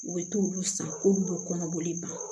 U bɛ t'olu san k'olu bɛ kɔnɔboli ban